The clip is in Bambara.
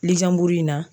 Lizan buru in na